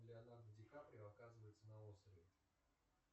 леонардо ди каприо оказывается на острове